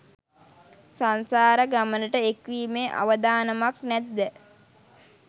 සංසාර ගමනට එක්වීමේ අවදානමක් නැත්ද?